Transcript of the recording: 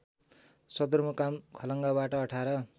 सदरमुकाम खलङ्गाबाट १८